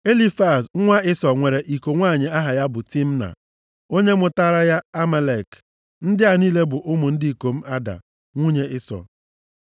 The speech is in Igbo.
Elifaz nwa Ịsọ nwere iko nwanyị aha ya bụ Timna, onye mụtaara ya Amalek. Ndị a niile bụ ụmụ ndị ikom Ada, nwunye Ịsọ.